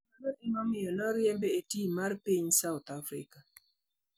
Mano nomiyo oriembe e tim mar piny South Africa.